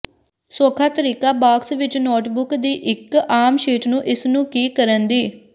ਸੌਖਾ ਤਰੀਕਾ ਬਾਕਸ ਵਿੱਚ ਨੋਟਬੁੱਕ ਦੀ ਇੱਕ ਆਮ ਸ਼ੀਟ ਨੂੰ ਇਸ ਨੂੰ ਕੀ ਕਰਨ ਦੀ